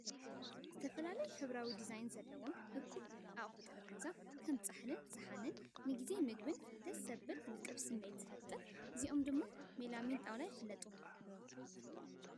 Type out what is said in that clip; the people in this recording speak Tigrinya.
ዝተፈላለዩ ሕብራዊ ዲዛይናት ዘለዎም እኩብ ኣቑሑት ጠረጴዛ (ከም ጻሕልን ሳእንን) ንጊዜ መግቢ ደስ ዘብልን ውቁብን ስምዒት ዝፈጥር። እዚኦም ድማ ብሜላሚን ጣውላ ይፍለጡ።